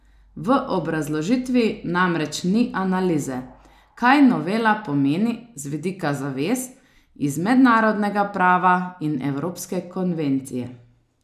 V obrazložitvi namreč ni analize, kaj novela pomeni z vidika zavez iz mednarodnega prava in evropske konvencije.